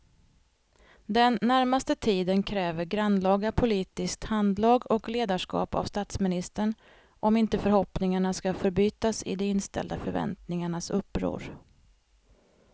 Den närmaste tiden kräver grannlaga politiskt handlag och ledarskap av statsministern om inte förhoppningarna ska förbytas i de inställda förväntningarnas uppror.